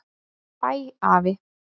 Bæ afi.